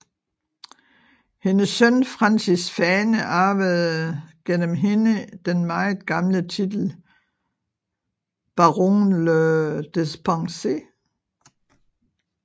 Hendes søn Francis Fane arvede gennem hende den meget gamle titel Baron le Despencer